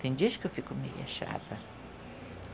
Tem dias que eu fico meio chata.